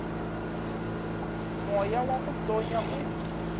moya wa go tonya o